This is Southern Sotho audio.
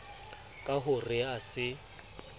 ka ho re a se